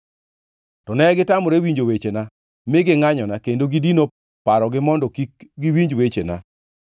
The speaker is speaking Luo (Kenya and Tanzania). “To negitamore winjo wechena; mi gingʼanyona kendo gidino parogi mondo kik giwinj wechena.